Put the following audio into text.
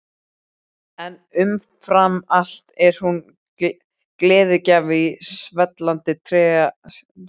En umfram allt er hún gleðigjafi í svellandi trega sínum.